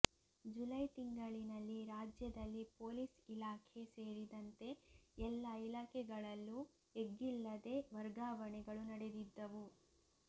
ಜುಲೈತಿಂಗಳಿನಲ್ಲಿ ರಾಜ್ಯದಲ್ಲಿ ಪೊಲೀಸ್ ಇಲಾಖೆ ಸೇರಿದಂತೆ ಎಲ್ಲ ಇಲಾಖೆಗಳಲ್ಲೂ ಎಗ್ಗಿಲ್ಲದೇ ವರ್ಗಾವಣೆಗಳು ನಡೆದಿದ್ದವು